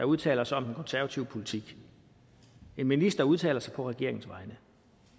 udtaler sig om den konservative politik en minister udtaler sig på regeringens vegne